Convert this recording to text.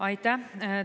Aitäh!